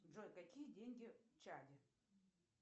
джой какие деньги в чаде